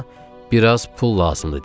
Amma biraz pul lazımdı deyir.